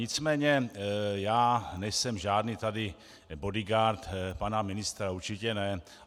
Nicméně já nejsem žádný tady bodyguard pana ministra, určitě ne.